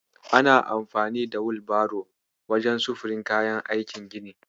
Ana amfani da Wilbaro wajen sufurin kayan aikin gini.